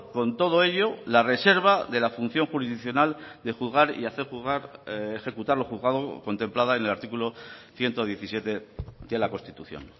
con todo ello la reserva de la función jurisdiccional de juzgar y hacer juzgar ejecutar lo juzgado contemplada en el artículo ciento diecisiete de la constitución